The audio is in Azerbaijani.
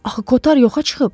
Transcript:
Axı Kotar yoxa çıxıb?